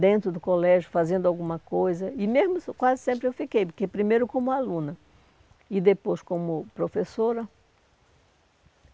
Dentro do colégio fazendo alguma coisa e mesmo quase sempre eu fiquei, porque primeiro como aluna e depois como professora.